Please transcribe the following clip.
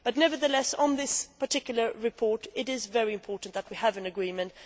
Nevertheless, on this particular report, it is very important that we have reached agreement.